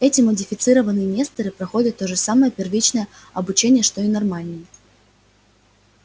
эти модифицированные несторы проходят то же самое первичное обучение что и нормальные